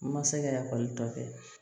Ma se ka ekɔli tɔ kɛ